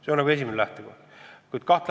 See on esimene lähtekoht.